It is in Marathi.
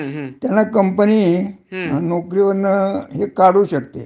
हो, बरोबर आहे. म्हणजे कधी ठेवतील कधी काढतील काही सांगता येत नाही.